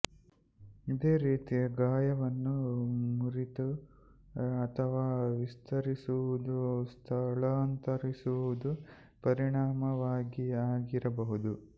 ಇದೇ ರೀತಿಯ ಗಾಯವನ್ನು ಮುರಿತ ಅಥವಾ ವಿಸ್ತರಿಸುವುದು ಸ್ಥಳಾಂತರಿಸುವುದು ಪರಿಣಾಮವಾಗಿ ಆಗಿರಬಹುದು